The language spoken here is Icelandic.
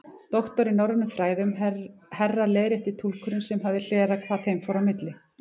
Doktor í norrænum fræðum, herra leiðrétti túlkurinn sem hafði hlerað hvað þeim fór á milli.